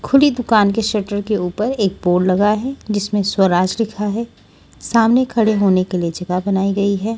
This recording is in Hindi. खुली दुकान के शटर के ऊपर एक बोर्ड लगा है जिसमें स्वराज लिखा है सामने खड़े होने के लिए जगह बनाई गई है।